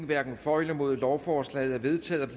hverken for eller imod lovforslaget er vedtaget